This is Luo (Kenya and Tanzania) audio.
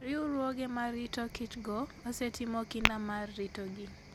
Riwruoge ma rito kichgo osetimo kinda mar ritogi.